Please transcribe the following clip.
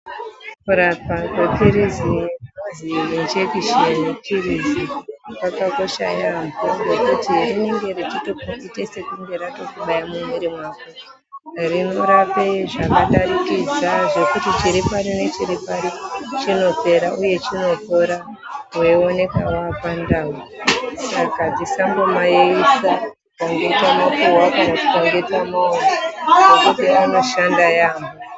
Kurapa gwetirize ...................kwakakosha yambo ngekuti rinenge rechitoite sekunge ratokubaya mumwiri mako reirape zvakadarikidza zvekuti chiripari nechirir pari chinopera uye chinopora weioneka wapandau saka dzisambomayeyisa kana tikange tamapuhwa kana tikange tamamwa ngokuti anoshanda yambo.